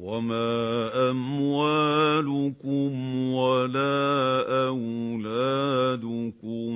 وَمَا أَمْوَالُكُمْ وَلَا أَوْلَادُكُم